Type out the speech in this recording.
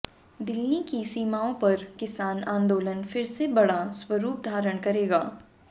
दिल्ली की सीमाओं पर किसान आंदोलन फिर से बड़ा स्वरूप धारण करेगा